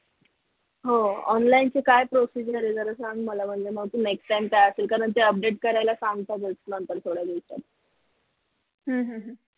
हो online ची काय procedure आहे नक्की सांग मला म्हणजे next time त्या update करायला सांगतातच ना त्या थोड्या दिवसात